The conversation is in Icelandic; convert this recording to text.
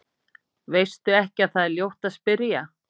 Veistu ekki að það er ljótt að spyrja?